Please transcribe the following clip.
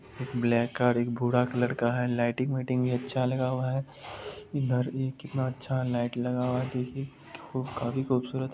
एक black car एक भूरा कलर का लाइटिंग व्हीटिंग अच्छा लगा हुआ इधर एक कितना अच्छा लाइट लगाया है काफी खूबसूरत है--